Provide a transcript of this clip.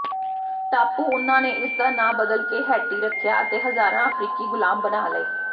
ਟਾਪੂ ਉਨ੍ਹਾਂ ਨੇ ਇਸਦਾ ਨਾਂ ਬਦਲ ਕੇ ਹੈਟੀ ਰੱਖਿਆ ਅਤੇ ਹਜ਼ਾਰਾਂ ਅਫ਼ਰੀਕੀ ਗ਼ੁਲਾਮ ਬਣਾ ਲਏ